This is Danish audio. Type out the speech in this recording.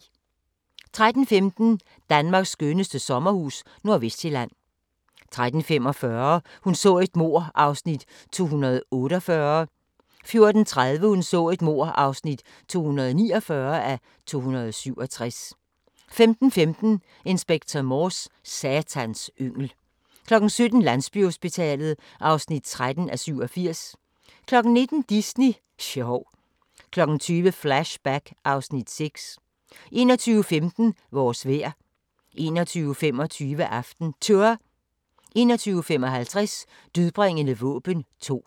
13:15: Danmarks skønneste sommerhus – Nordvestsjælland 13:45: Hun så et mord (248:267) 14:30: Hun så et mord (249:267) 15:15: Inspector Morse: Satans yngel 17:00: Landsbyhospitalet (13:87) 19:00: Disney sjov 20:00: Flashback (Afs. 6) 21:15: Vores vejr 21:25: AftenTour 21:55: Dødbringende våben 2